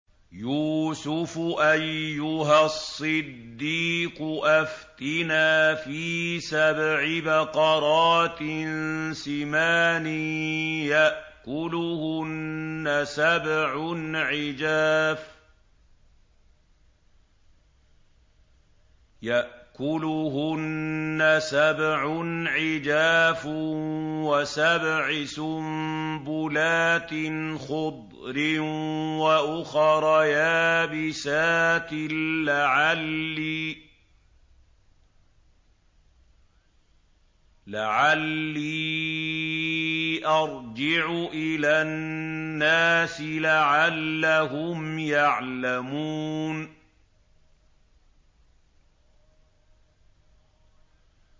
يُوسُفُ أَيُّهَا الصِّدِّيقُ أَفْتِنَا فِي سَبْعِ بَقَرَاتٍ سِمَانٍ يَأْكُلُهُنَّ سَبْعٌ عِجَافٌ وَسَبْعِ سُنبُلَاتٍ خُضْرٍ وَأُخَرَ يَابِسَاتٍ لَّعَلِّي أَرْجِعُ إِلَى النَّاسِ لَعَلَّهُمْ يَعْلَمُونَ